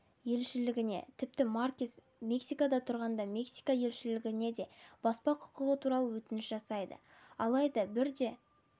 елшілігіне тіпті маркес мексикада тұрғанда мексика елшілігіне де баспа құқығы туралы өтініш жасайды алайда бірде